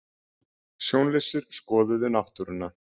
Sjónlausir skoðuðu náttúruna